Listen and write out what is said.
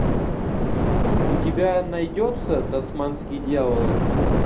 у тебя найдется тасманские дьяволы